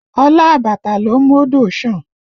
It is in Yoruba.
Olá àbàtà ló ń mú odò san